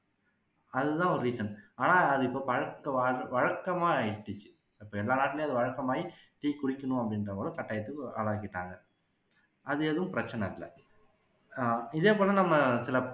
அது தான் ஒரு reason ஆனா அது பழக்கவாழ் வழக்கமா ஆகிடுச்சு இப்போ எல்லா நாட்டுலயும் அது வழக்கமாகி tea குடிக்கணும் அப்படின்ற அளவுக்கு கட்டாயத்துக்கு ஆளாக்கிட்டாங்க அது எதுவும் பிரச்சனை இல்ல ஆஹ் இதே போல நம்ம சில